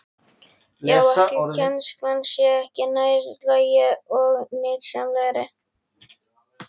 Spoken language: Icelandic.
Já, ætli kennslan sé ekki nær lagi og nytsamlegri?